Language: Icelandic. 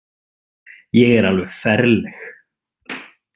Ég er alveg ferleg.